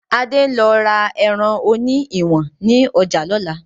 Adé ń lọ ra ẹran òní ìwọ̀n ni ọjà lọ́la